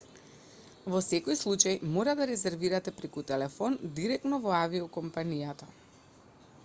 во секој случај мора да резервирате преку телефон директно во авиокомпанијата